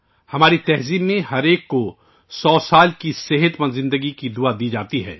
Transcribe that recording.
ہماری ثقافت میں ہر ایک کو سو سال کی صحت مند زندگی کی دعا دی جاتی ہے